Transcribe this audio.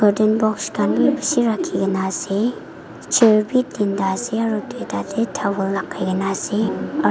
carton box khan bi bishi rakhi kena ase chair bi tinta ase aro duita te towel lagai kena ase aro--